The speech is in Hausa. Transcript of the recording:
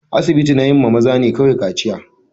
Asibiti na yi maza ne kawai kaciya.